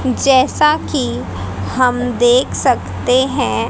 जैसा कि हम देख सकते हैं--